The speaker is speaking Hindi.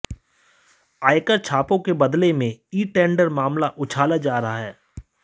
आयकर छापों के बदले में ई टेंडर मामला उछाला जा रहा है